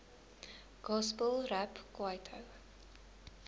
gospel rap kwaito